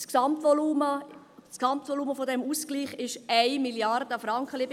Das Gesamtvolumen dieses Ausgleichs umfasst rund 1 Mrd. Franken.